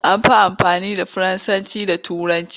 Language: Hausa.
An fi amfani da Faransanci da Turanci.